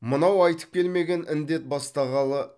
мынау айтып келмеген індет бастағалы